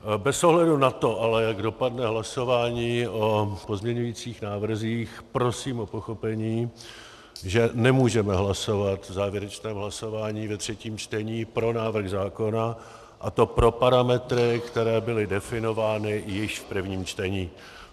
Bez ohledu na to ale, jak dopadne hlasování o pozměňujících návrzích, prosím o pochopení, že nemůžeme hlasovat v závěrečném hlasování ve třetím čtení pro návrh zákona, a to pro parametry, které byly definovány již v prvním čtení.